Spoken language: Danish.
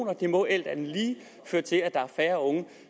og det må alt andet lige føre til at der er færre unge